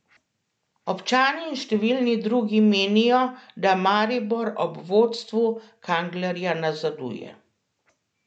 Občani in številni drugi menijo, da Maribor ob vodstvu Kanglerja nazaduje.